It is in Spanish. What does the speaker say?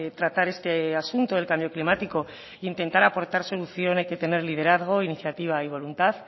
tratar este asunto del cambio climático e intentar aportar solución hay que tener liderazgo iniciativa y voluntad